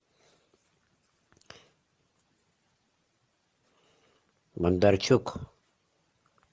бондарчук